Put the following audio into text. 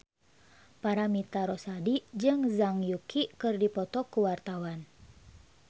Paramitha Rusady jeung Zhang Yuqi keur dipoto ku wartawan